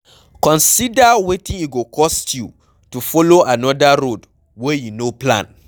Consider wetin e go cost you to follow another road wey you no plan